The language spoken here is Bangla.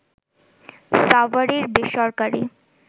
সাভারের বেসরকারি